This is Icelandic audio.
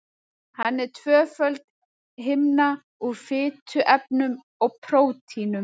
Hann er tvöföld himna úr fituefnum og prótínum.